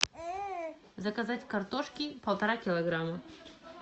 заказать картошки полтора килограмма